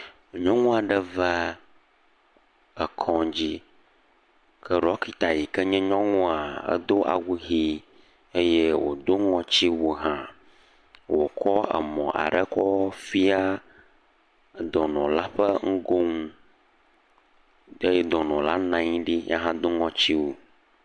Nyɔnu aɖe va, ekɔdzi ke ɖɔklita si nye nyɔnua do awu ʋi, eye wodo ŋɔtiwu hã wokɔ emɔ aɖe fia dɔnɔla ƒe ŋgo nu, eye dɔnɔ la nɔ anyi eye wodo ŋɔtiwu.